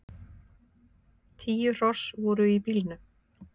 Tíu hross voru í bílnum.